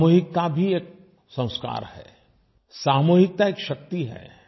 सामूहिकता भी एक संस्कार है सामूहिकता एक शक्ति है